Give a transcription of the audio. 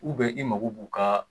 i mako b'u ka